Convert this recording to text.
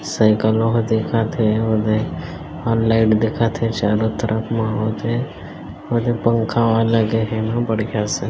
सैकल वा को देखत हे ओदे और लाईट दिखत है चारो तरफ माहोल है ओदे पंखा और लगे हे यहा बड़का सा ।